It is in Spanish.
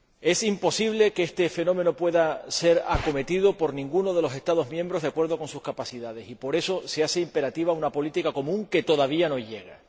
Es imposible que este fenómeno pueda ser acometido por ninguno de los Estados miembros de acuerdo con sus capacidades y, por eso, se hace imperativa una política común, que todavía no llega.